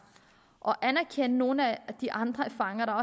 og anerkende nogle af de andre erfaringer